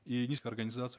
и низкую организацию